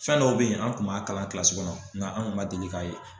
Fɛn dɔw bɛ yen an kun b'a kalan kilasi kɔnɔ nga anw kun ma deli k'a ye.